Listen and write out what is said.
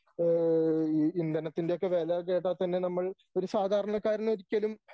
ഓ ഈ ഇന്ധനത്തിൻ്റെ ഒക്കെ വില കേട്ടാൽ തന്നെ നമ്മൾ ഒരു സാധാരണക്കാരനൊരിക്കലും